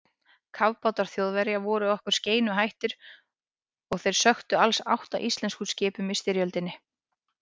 Kafbátar Þjóðverja voru okkur skeinuhættir og þeir sökktu alls átta íslenskum skipum í styrjöldinni.